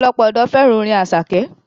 Ọ̀pọ̀lọpọ̀ ọ̀dọ́ fẹ́ràn orin Àṣàkẹ́.